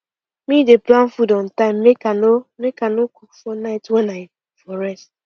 me dey plan food on time make i no make i no for night wen i for rest